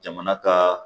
Jamana ka